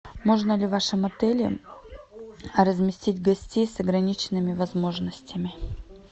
можно ли в вашем отеле разместить гостей с ограниченными возможностями